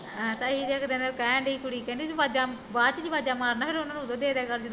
ਆਹੋ ਤਾਂਹੀਂ ਇੱਕ ਦਿਨ ਕਹਿਣ ਡਈ ਸੀ ਕੁੜੀ ਕਹਿੰਦੀ ਤੂੰ ਆਵਾਜ਼ਾਂ ਬਾਦ ਚ ਕਿਉ ਆਵਾਜ਼ਾਂ ਮਰਦਾ ਉਹਨਾਂ ਨੂੰ ਉਦੋਂ ਈ ਦੇ ਦਿਆ ਕਰ ਜਦੋਂ ਆਉਂਦੇ